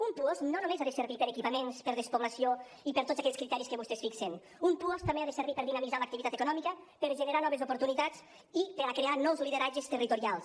un puosc no només ha de servir per a equipaments per a despoblació i per a tots aquells criteris que vostès fixen un puosc també ha de servir per a dinamitzar l’activitat econòmica per a generar noves oportunitats i per a crear nous lideratges territorials